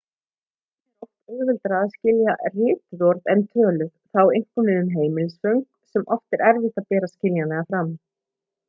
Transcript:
einnig er oft auðveldara að skilja rituð orð en töluð það á einkum við um heimilisföng sem er oft erfitt að bera skiljanlega fram